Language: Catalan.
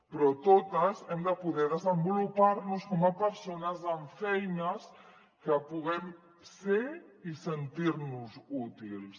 però totes hem de poder desenvolupar nos com a persones amb feina que puguem ser i sentir nos útils